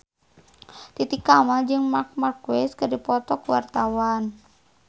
Titi Kamal jeung Marc Marquez keur dipoto ku wartawan